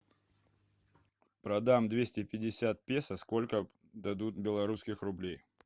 продам двести пятьдесят песо сколько дадут белорусских рублей